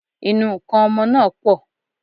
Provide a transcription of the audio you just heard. Ìnu nkan ọmọ náà pọ̀